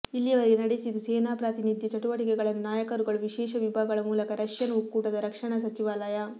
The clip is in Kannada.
ಇಲ್ಲಿಯವರೆಗೆ ನಡೆಸಿತು ಸೇನಾ ಪ್ರಾತಿನಿಧ್ಯ ಚಟುವಟಿಕೆಗಳನ್ನು ನಾಯಕರುಗಳು ವಿಶೇಷ ವಿಭಾಗಗಳ ಮೂಲಕ ರಷ್ಯನ್ ಒಕ್ಕೂಟದ ರಕ್ಷಣಾ ಸಚಿವಾಲಯ